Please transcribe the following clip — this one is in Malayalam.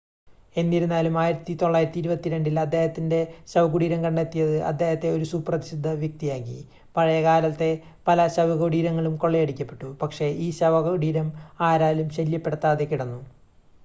എന്നിരുന്നാലും 1922-ൽ അദ്ദേഹത്തിൻ്റെ ശവകുടീരം കണ്ടെത്തിയത് അദ്ദേഹത്തെ ഒരു സുപ്രസിദ്ധ വ്യക്തിയാക്കി പഴയകാലത്തെ പല ശവകുടീരങ്ങളും കൊള്ളയടിക്കപ്പെട്ടു പക്ഷേ ഈ ശവകുടീരം ആരാലും ശല്യപ്പെടുത്താതെ കിടന്നു